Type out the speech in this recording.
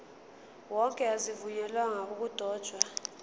wonke azivunyelwanga ukudotshwa